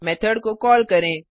method को call करें